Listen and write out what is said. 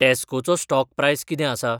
टॅस्कोचो stock price कितें आसा ?